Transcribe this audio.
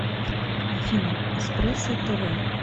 афина эспрессо тэ вэ